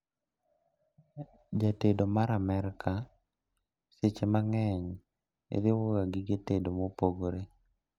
Jatedo mar Amerka seche mang'eny riwo ga gige tedo mopogore